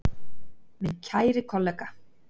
Minn kæri kollega.